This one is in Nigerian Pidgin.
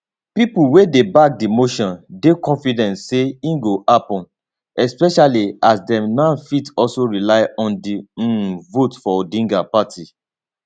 pipo wey dey back di motion dey confident say e go happun especially as dem now fit also rely on di um votes for odinga party